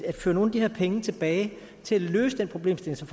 at føre nogle af de her penge tilbage til at løse den problemstilling som